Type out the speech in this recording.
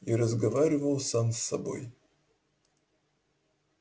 и разговаривал сам с собой